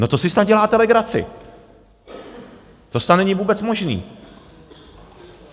No, to si snad děláte legraci, to snad není vůbec možný.